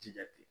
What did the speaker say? Jija ten